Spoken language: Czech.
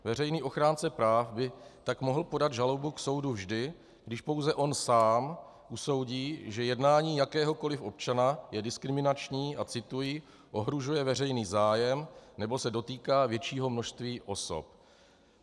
Veřejný ochránce práv by tak mohl podat žalobu k soudu vždy, když pouze on sám usoudí, že jednání jakéhokoliv občana je diskriminační a - cituji - "ohrožuje veřejný zájem nebo se dotýká většího množství osob".